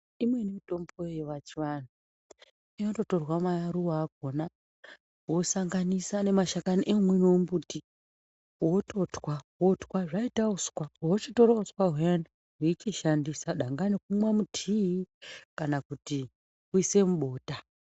Imweni mitombo yepachivanhu inototorwa maruva akona wosanganisa nemashakani omumwewo mumbuti wototwa wotwa zvoita uswa wochitore uswa uyani weitoshandisa dakani kumwe mutea kana kuti kuise mubota.